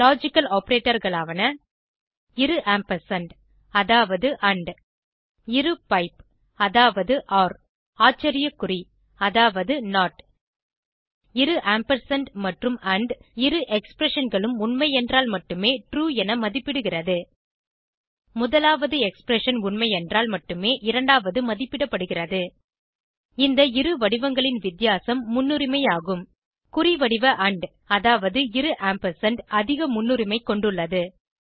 logical operator களாவன இரு ampersand அதாவது இரு பைப் அதாவது ஆச்சரிய குறி அதாவது இரு ஆம்பர்சாண்ட் மற்றும் ஆண்ட் இரு expressionகளும் உண்மை என்றால் மட்டுமே ட்ரூ என மதிப்பிடுகிறது முதலாவது எக்ஸ்பிரஷன் உண்மையென்றால் மட்டுமே இரண்டாவது மதிப்பிடப்படுகிறது இந்த இரு வடிவங்களின் வித்தியாசம் முன்னுரிமை ஆகும் குறிவடிவ ஆண்ட் அதாவது இரு ஆம்பர்சாண்ட் அதிக முன்னுரிமை கொண்டுள்ளது